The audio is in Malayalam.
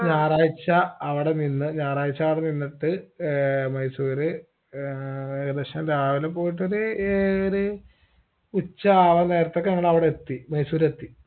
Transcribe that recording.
ഞായറാഴ്ച അവിടെ നിന്ന് ഞായറാഴ്ച അവിടെ നിന്നിട്ട് ഏർ മൈസൂര് ഏർ ഏകദേശം രാവിലെ പോയിട്ടൊരു ഏഴര ഉച്ചാവാൻ നേരത്തൊക്കെ ഞങ്ങളവിടെ എത്തി മൈസൂരെത്തി